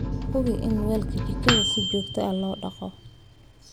Hubi in weelka jikada si joogto ah loo dhaqo.